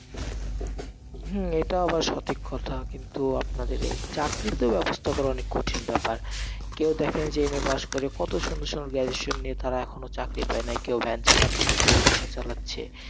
হম এটা আবার সঠিক কথা কিন্তু আপনাদের এই, চাকরির তো ব্যবস্থা করা অনেক কঠিন ব্যাপার, কেউ দেখেন যে MA pass করে, কত সুন্দর সুন্দর graduation নিয়ে কেও van চালাচ্ছে, কেও রিকশা চালাচ্ছে।